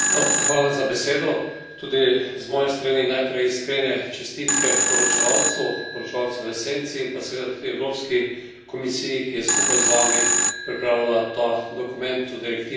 Tudi z moje strani najprej iskrene čestitke poročevalcu, poročevalcu v senci in pa seveda tudi Evropski komisiji, ki je skupaj z vami pripravila ta dokument, to direktivo o kibernetski varnosti.